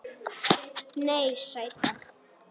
Nei, sæta.